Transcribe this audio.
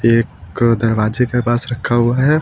एक दरवाजे के पास रखा हुआ है।